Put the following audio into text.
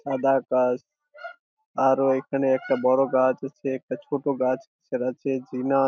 সাদা আর ও এখানে একটা বড় গাছ আছে একটা ছোট গাছ আছে --